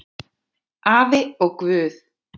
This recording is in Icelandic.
Afi og Guð!